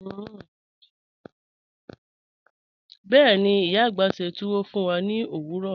Bẹ́ẹ̀ni, iya agbá sẹ́ túwọ́ fún wà ní ọ̀wọ̀rọ̀.